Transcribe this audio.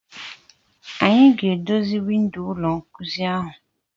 Anyị ga-edozi windo ụlọ nkuzi ahụ.